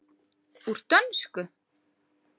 Úr dönsku?